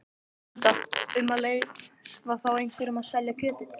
Linda: Um að leyfa þá einhverjum að selja kjötið?